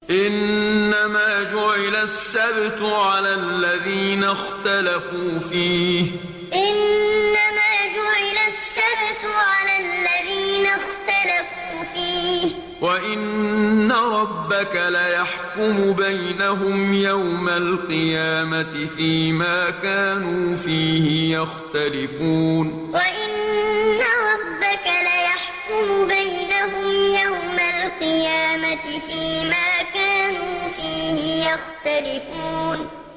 إِنَّمَا جُعِلَ السَّبْتُ عَلَى الَّذِينَ اخْتَلَفُوا فِيهِ ۚ وَإِنَّ رَبَّكَ لَيَحْكُمُ بَيْنَهُمْ يَوْمَ الْقِيَامَةِ فِيمَا كَانُوا فِيهِ يَخْتَلِفُونَ إِنَّمَا جُعِلَ السَّبْتُ عَلَى الَّذِينَ اخْتَلَفُوا فِيهِ ۚ وَإِنَّ رَبَّكَ لَيَحْكُمُ بَيْنَهُمْ يَوْمَ الْقِيَامَةِ فِيمَا كَانُوا فِيهِ يَخْتَلِفُونَ